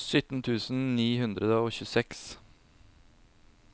sytten tusen ni hundre og tjueseks